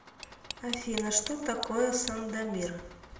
афина что такое сандомир